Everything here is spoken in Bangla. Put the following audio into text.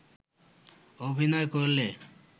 অভিনয় করলে